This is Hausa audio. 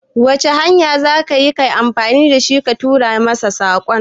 Wace hanya za ka yi amfani da shi ka turo min saƙon?